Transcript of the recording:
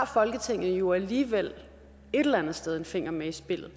folketinget jo alligevel et eller andet sted en finger med i spillet